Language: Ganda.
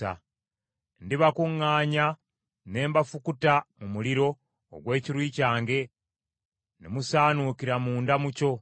Ndibakuŋŋaanya, ne mbafukuta mu muliro ogw’ekiruyi kyange, ne musaanuukira munda mu kyo.